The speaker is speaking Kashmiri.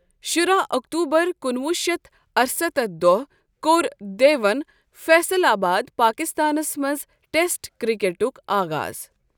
شُراہ اکتوبر کُنوُہ شیتھ ارستتھ دوہ کوٚر دیون فیصل آباد، پاکستانس منز ٹیسٹ کرِٚکیٹُک آغاض ۔